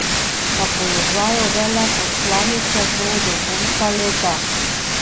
Na položaju veleposlanice bo do konca leta.